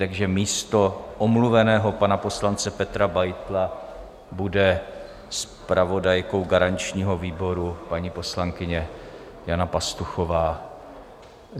Takže místo omluveného pana poslance Petra Beitla bude zpravodajkou garančního výboru paní poslankyně Jana Pastuchová.